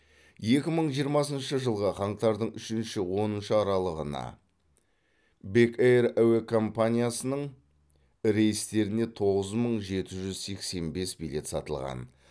екі мың жиырмасыншы жылғы қаңтардың үшінші оныншы аралығына бек эйр әуе компаниясының рейстеріне тоғыз мың жеті жүз сексен бес билет сатылған